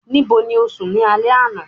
nibo ni o sùn ni alẹ ana?